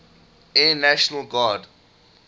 air national guard